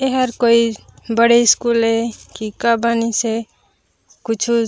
एहर कोई बड़े स्कूल ए की का बानी से कुछु--